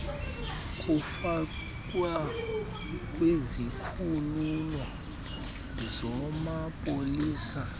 kufakwa kwizikhululo zamapolisa